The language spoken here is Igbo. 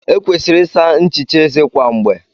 E kwesịrị ịsa nchicha eze kwa mgbe.